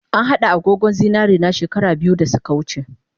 An hada agogon zinarena she kara biyu dasuka wuce